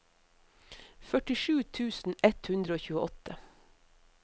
førtisju tusen ett hundre og tjueåtte